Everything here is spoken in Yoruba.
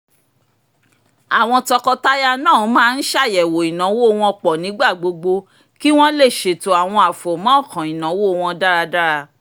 àwọn tọkọtaya náà máa ń ṣàyẹ̀wò ináwó wọ́n pọ̀ nígbà gbogbo kí wọ́n lè ṣètò àwọn àfọ̀mọ́ọ̀kàn ináwó wọ́n dáradára